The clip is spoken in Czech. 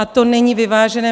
A to není vyvážené.